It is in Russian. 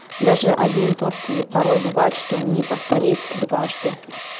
даже один торт и порой бывает что не повторить дважды